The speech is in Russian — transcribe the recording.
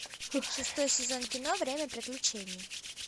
шестой сезон кино время приключений